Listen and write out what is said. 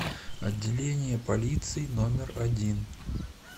отделение полиции номер один